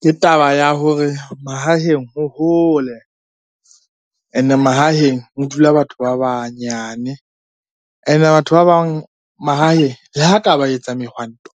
Ke taba ya hore mahaheng ho hole, ene mahaheng ho dula batho ba banyane. Ene batho ba bang mahaheng le ha ka ba etsa mehwanto,